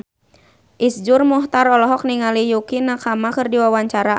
Iszur Muchtar olohok ningali Yukie Nakama keur diwawancara